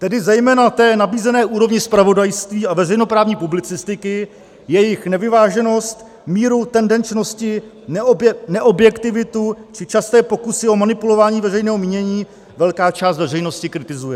Tedy zejména té nabízené úrovni zpravodajství a veřejnoprávní publicistiky, jejichž nevyváženost, míru tendenčnosti, neobjektivitu či časté pokusy o manipulování veřejného mínění velká část veřejnosti kritizuje.